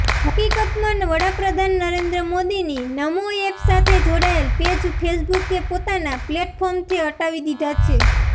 હકીકતમાં વડાપ્રધાન નરેન્દ્ર મોદીની નમો એપ સાથે જોડાયેલ પેજ ફેસબુકે પોતાનાં પ્લેટફોર્મથી હટાવી લીધા છે